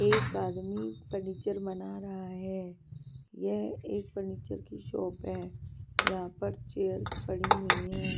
एक आदमी फर्नीचर बना रहा है यह एक फर्नीचर की शॉप है यहां पर चेयर्स पड़ी हुई हैं.